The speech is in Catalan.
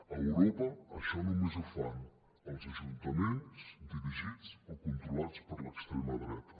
a europa això només ho fan els ajuntaments dirigits o controlats per l’extrema dreta